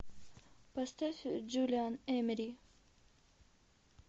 поставь джулиан эмери